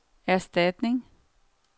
erstatning